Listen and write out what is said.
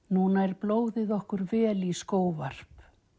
nú nær blóðið okkur vel í skóvarp